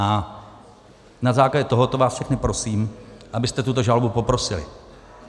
A na základě tohoto vás všechny prosím, abyste tuto žalobu podpořili.